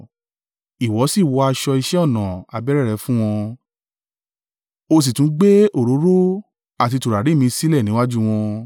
Ìwọ sì wọ aṣọ iṣẹ́ ọnà abẹ́rẹ́ rẹ fún wọn, o sì tún gbé òróró àti tùràrí mi sílẹ̀ níwájú wọn.